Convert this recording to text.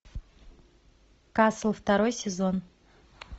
касл второй сезон